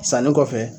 Sanni kɔfɛ